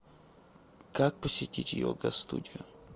как посетить йога студию